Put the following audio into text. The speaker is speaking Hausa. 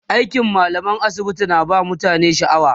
aikin mallamar asibiti na ba mutane shaaw